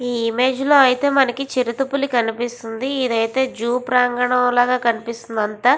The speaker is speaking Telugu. ఈ ఇమేజ్ లో మనకి చిరుత పులి కనిపిస్తూ వుంది ఇది అయతె జూ ప్రాంగణం లాగా కనిపిస్తూ వుంది.